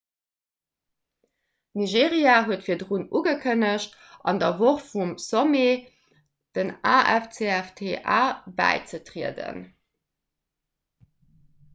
nigeria huet virdrun ugekënnegt an der woch vum sommet dem afcfta bäizetrieden